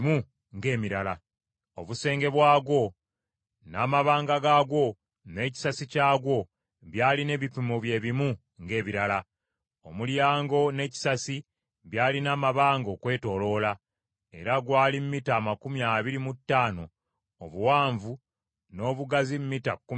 Obusenge bwagwo n’amabanga gaagwo n’ekisasi kyagwo byalina ebipimo bye bimu ng’ebirala. Omulyango n’ekisasi byalina amabanga okwetooloola, era gwali mita amakumi abiri mu ttaano obuwanvu n’obugazi mita kkumi na bbiri n’ekitundu.